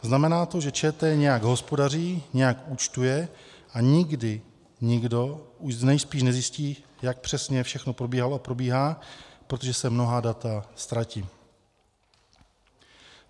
Znamená to, že ČT nějak hospodaří, nějak účtuje a nikdy nikdo už nejspíš nezjistí, jak přesně všechno probíhalo a probíhá, protože se mnohá data ztratí.